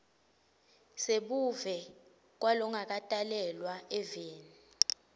sebuve kwalongakatalelwa eveni